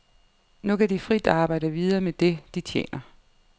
Nu kan de frit arbejde videre med det, de tjener.